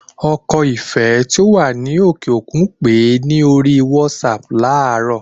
Ọkọ Ìfẹ́ tí ó wà ní òkè òkun pèé ní orí WhatsApp láàrọ